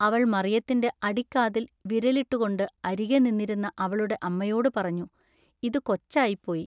അവൾ മറിയത്തിന്റെ അടിക്കാതിൽ വിരലിട്ടുകൊണ്ടു അരികെ നിന്നിരുന്ന അവളുടെ അമ്മയോടുപറഞ്ഞു-ഇതു കൊച്ചായിപ്പോയി.